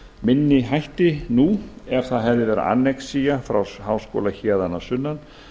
minni hætti nú ef það hefði verið annexía frá háskóla héðan að sunnan